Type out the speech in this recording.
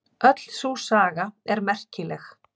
Öll sú saga er merkileg.